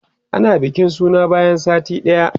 ana bikin suna bayan sati ɗaya